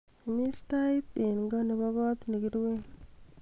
imis tait en ko nebo koot negiruen